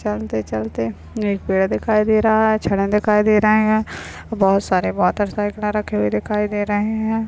चलते चलते एक पेड़ दिखाई दे रहा है दिखाई दे रहे है बहुत सारे रखे हुए दिखाई दे रहे है।